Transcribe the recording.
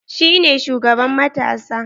Shi ne shugaban matasa?